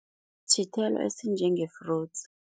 Sithelo esinjenge-fruits.